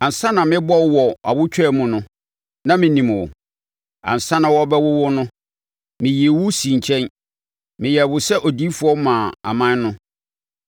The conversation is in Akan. “Ansa na merebɔ wo wɔ awotwaa mu no, na menim wo; ansa na wɔrebɛwo wo no, meyii wo sii nkyɛn; meyɛɛ wo sɛ odiyifoɔ maa aman no.”